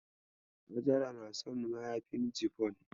Hajara na son mayafin cifon.